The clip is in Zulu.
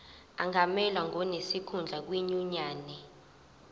angamelwa ngonesikhundla kwinyunyane